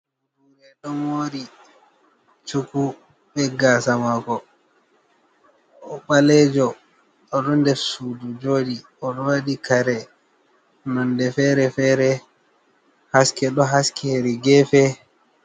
Bodure ɗo mori cuku be gasa mako. O'ɓalejo oɗo nder sudu joɗi oɗo waɗi kare nonde fere-fere. Haske ɗo haski hedi gefe.